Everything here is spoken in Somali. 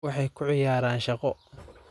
Waxay ku ciyaaraan shaqo